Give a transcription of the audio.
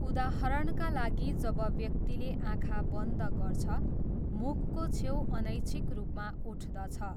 उदाहरणका लागि जब व्यक्तिले आँखा बन्द गर्छ, मुखको छेउ अनैच्छिक रूपमा उठ्दछ।